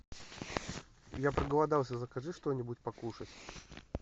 я проголодался закажи что нибудь покушать